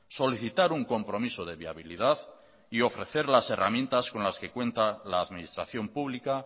solicitar un compromiso de viabilidad y ofrecer las herramientas con las que cuenta la administración pública